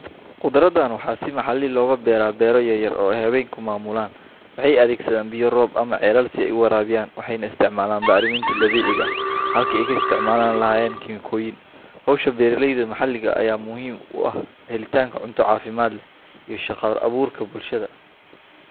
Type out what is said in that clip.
Khudraddan waxaa si maxalli ah looga beeraa beero yaryar oo ay haweenku maamulaan. Waxay adeegsadaan biyo roob ah ama ceelal si ay u waraabiyaan, waxayna isticmaalaan bacriminta dabiiciga ah halkii ay ka isticmaali lahaayeen kiimikooyin. Hawsha beeralayda maxalliga ah ayaa muhiim u ah helitaanka cunto caafimaad leh iyo shaqo abuurka bulshada.